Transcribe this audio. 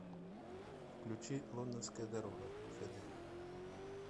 включи лондонская дорога хд